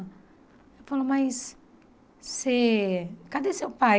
Ela falou, mas você cadê seu pai?